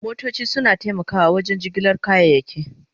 Motoci suna taimakawa wajen jigilar kayayyaki.